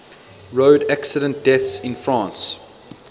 road accident deaths in france